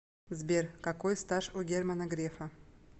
сбер какой стаж у германа грефа